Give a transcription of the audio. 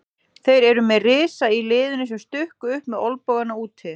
Þeir eru með risa í liðinu sem stukku upp með olnbogana úti.